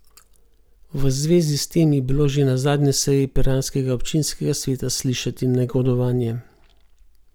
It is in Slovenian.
V zvezi s tem je bilo že na zadnji seji piranskega občinskega sveta slišati negodovanje.